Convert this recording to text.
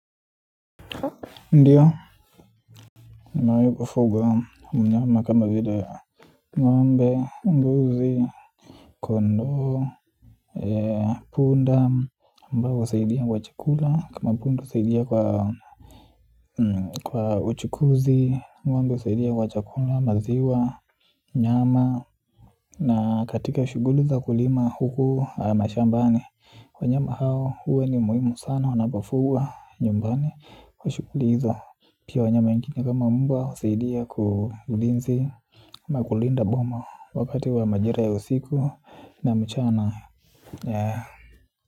Ndio nimewi kufuga mnyama kama vile ngombe, mbuzi, kondao, punda ambao husaidia kwa chakula. Kama punda usaidia kwa uchukuzi ngombe usaidia kwa chakula, maziwa, nyama. Na katika ushuguli za kulima huku mashambani wanyama hao, huwa ni muhimu sana. Wanapafugwa nyumbani kwa shuguli hizo pia wanyama wengine kama mbwa usidia kwa ulinzi na kulinda boma wakati wa majira ya usiku na mchana.